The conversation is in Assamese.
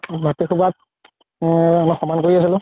মাটি খোপাত এহ সমান কৰি আছিলো